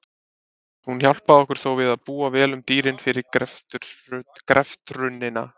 Hún hjálpaði okkur þó við að búa vel um dýrin fyrir greftrunina.